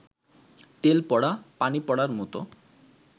তেল পড়া, পানি পড়ার মতো